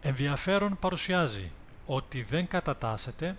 ενδιαφέρον παρουσιάζει ότι δεν κατατάσσεται